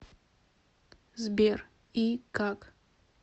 сбер и как